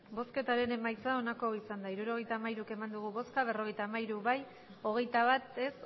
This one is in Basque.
emandako botoak hirurogeita hamairu bai berrogeita hamairu ez hogeita bat